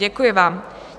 Děkuji vám.